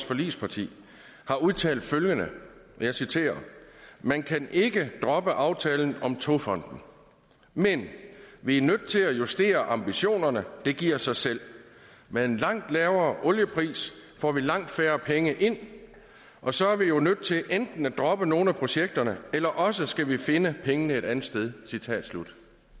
forligspartier har udtalt følgende og jeg citerer man kan ikke droppe aftalen om togfonden men vi er nødt til at justere ambitionerne det giver sig selv med en langt lavere oliepris får vi langt færre penge ind og så er vi jo nødt til enten at droppe nogle af projekterne eller også skal vi finde pengene et andet sted